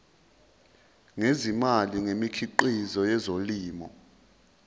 ngezimali ngemikhiqizo yezolimo